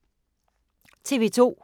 TV 2